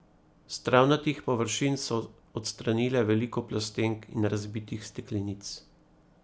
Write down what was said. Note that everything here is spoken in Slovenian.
S travnatih površin so odstranile veliko plastenk in razbitih steklenic.